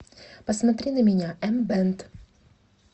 посмотри на меня эмбэнд